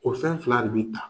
O fɛn fila de bi ta.